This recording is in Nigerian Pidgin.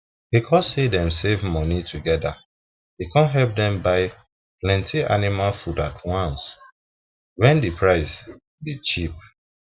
because say dem save moni together e come help dem buy plenty animal food at once when the price be cheap